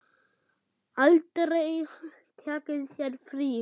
Aldrei tekið sér frí.